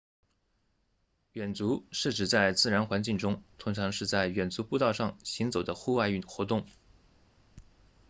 远足是指在自然环境中通常是在远足步道上行走的户外活动